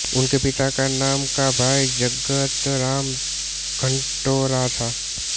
उनके पिता का नाम का भाई जगत राम घटौरा था